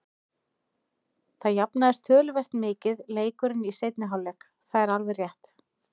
Það jafnaðist töluvert mikið leikurinn í seinni hálfleik, það er alveg rétt.